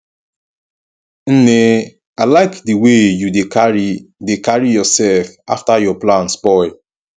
nne i like the way you dey carry dey carry yourself after your plan spoil